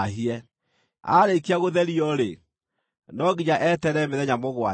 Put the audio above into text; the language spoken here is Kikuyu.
Aarĩkia gũtherio-rĩ, no nginya eterere mĩthenya mũgwanja.